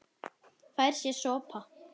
Fær sér sopa.